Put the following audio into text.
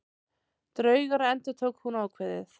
Draugar endurtók hún ákveðið.